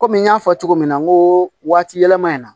Kɔmi n y'a fɔ cogo min na n ko waati yɛlɛma in na